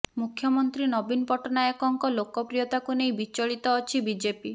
ମୁଖ୍ୟମନ୍ତ୍ରୀ ନବୀନ ପଟ୍ଟନାୟକଙ୍କ ଲୋକପ୍ରିୟତାକୁ ନେଇ ବିଚଳିତ ଅଛି ବିଜେପି